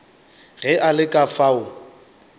ge a le ka fao